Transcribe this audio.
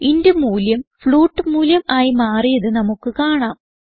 int മൂല്യം float മൂല്യം ആയി മാറിയത് നമുക്ക് കാണാം